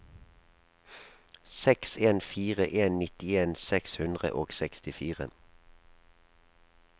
seks en fire en nittien seks hundre og sekstifire